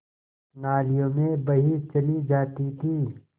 नालियों में बही चली जाती थी